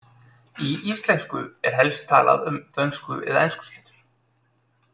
Í íslensku er helst talað um dönsku- eða enskuslettur.